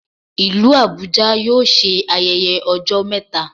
Ìlú Abuja yóò ṣe ayẹyẹ ọjọ́ mẹta